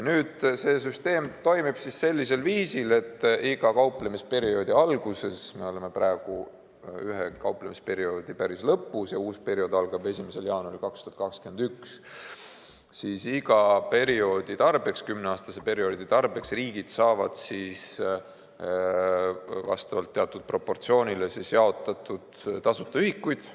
Süsteem toimib viisil, et iga kauplemisperioodi alguses – me oleme praegu ühe kauplemisperioodi lõpus ja uus periood algab 1. jaanuaril 2021 –, saavad riigid iga kümneaastase perioodi tarbeks vastavalt teatud proportsioonile tasuta ühikuid.